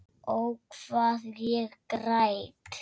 Ó, hvað ég græt.